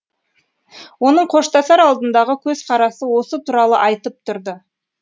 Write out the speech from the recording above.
оның қоштасар алдындағы көзқарасы осы туралы айтып тұрды